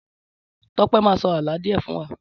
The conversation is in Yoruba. Tọ́pẹ́ máa sọ àlọ́ díè fún wa